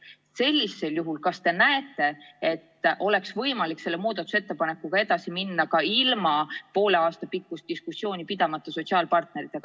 Kas te sellisel juhul näete, et oleks võimalik selle muudatusettepanekuga edasi minna, ilma et peaks sotsiaalpartneritega poole aasta pikkust diskussiooni pidama?